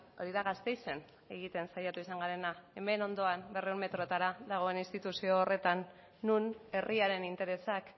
hori da gasteizen egiten saiatu izan garena hemen ondoan berrehun metroetara dagoen instituzio horretan non herriaren interesak